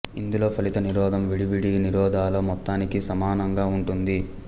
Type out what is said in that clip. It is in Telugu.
ఇందులో ఫలిత నిరోధం విడివిడి నిరోధాల మొత్తానికి సమానంగా ఉంటుంది